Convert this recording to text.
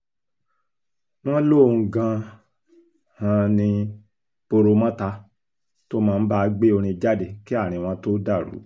wọ́n lóun gan-an ní poromọ́ta tó máa ń bá a gbé orin jáde kí àárín wọn tóó dàrú